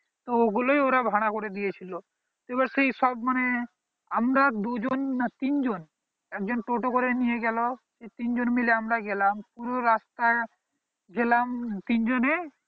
তো ওই গুলোই ওরা ভাড়া করে দিয়ে ছিল এইবার সেই সব মানে আমরা দুই জন না তিন জন এক জন টোটো করে নিয়ে গেলো সে তিন জন মিলে আমরা গেলাম পুরো রাস্তা গেলাম তিন জনে